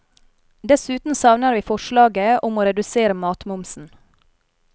Dessuten savner vi forslaget om å redusere matmomsen.